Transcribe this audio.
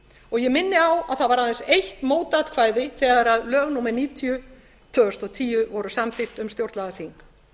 og ég minni á að það var aðeins eitt mótatkvæði þegar lög númer níutíu tvö þúsund og tíu voru samþykkt um stjórnlagaþing